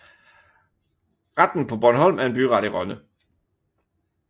Retten på Bornholm er en byret i Rønne